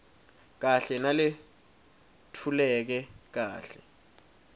kahle naletfuleke kahle